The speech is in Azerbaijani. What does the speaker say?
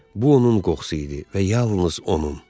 Bu onun qoxusu idi və yalnız onun.